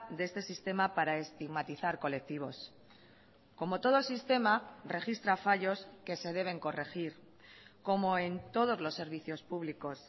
de este sistema para estigmatizar colectivos como todo sistema registra fallos que se deben corregir como en todos los servicios públicos